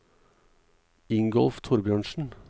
Ingolf Thorbjørnsen